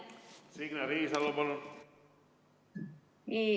Signe Riisalo, palun!